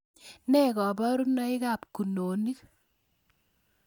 Ne koborunoikab kunonik